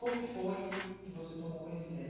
Como que foi que você tomou conhecimento?